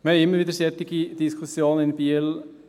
» Wir haben immer wieder solche Diskussionen in Biel.